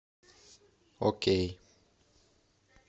окей